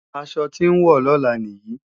Aṣọ tí n wọ̀ lọ́la nìyí